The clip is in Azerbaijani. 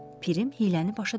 Pirim hiyləni başa düşür.